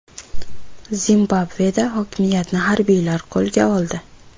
Zimbabveda hokimiyatni harbiylar qo‘lga oldi.